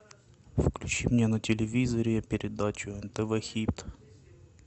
включи мне на телевизоре передачу нтв хит